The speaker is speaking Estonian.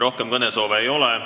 Rohkem kõnesoove ei ole.